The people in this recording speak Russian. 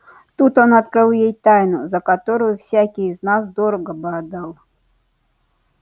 тут он открыл ей тайну за которую всякий из нас дорого бы отдал